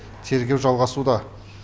тергеу жалғасуда